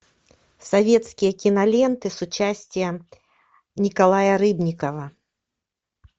советские киноленты с участием николая рыбникова